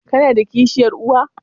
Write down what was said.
Kana da kishiyar uwa?